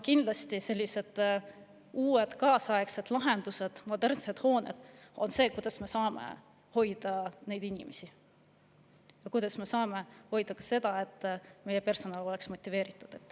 Kindlasti on ka uued kaasaegsed lahendused ja modernsed hooned see, kuidas me saame hoida inimesi siin ja, et meie personal oleks motiveeritud.